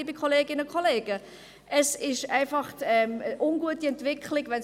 Liebe Kolleginnen und Kollegen, es